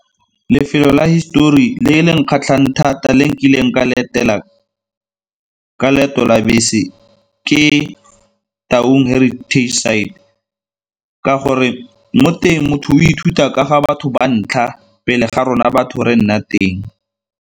Lefelo la histori le le nkgatlhang thata le nkileng ka letela ka leeto la bese ke Taung Heritage Site ka gore mo teng motho o ithuta ka ga batho ba ntlha pele ga rona batho re nna teng.